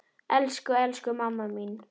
Elsku, elsku mamma mín.